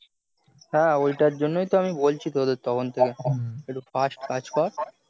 হ্যাঁ হ্যাঁ ওইটার জন্যই তো তখন থেকে বলছি তোদের fast কাজ কর